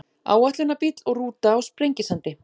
Áætlunarbíll og rúta á Sprengisandi.